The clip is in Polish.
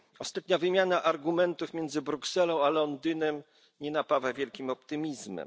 Ostatnia wymiana argumentów między Brukselą a Londynem nie napawa wielkim optymizmem.